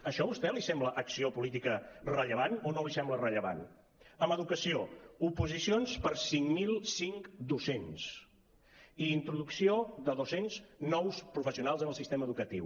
això a vostè li sembla acció política rellevant o no li sembla rellevant en educació oposicions per a cinc mil cinc docents introducció de dos cents nous professionals en el sistema educatiu